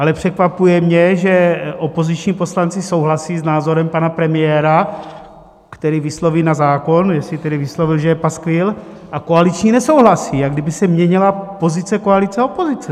Ale překvapuje mě, že opoziční poslanci souhlasí s názorem pana premiéra, který vysloví na zákon, jestli tedy vyslovil, že je paskvil, a koaliční nesouhlasí, jak kdyby se měnila pozice koalice a opozice.